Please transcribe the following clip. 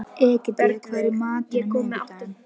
Egedía, hvað er í matinn á miðvikudaginn?